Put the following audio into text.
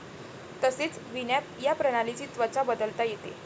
तसेच विनॲप या प्रणालीची त्वचा बदलता येते.